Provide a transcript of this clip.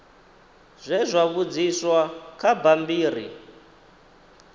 zwe zwa vhudziswa kha bammbiri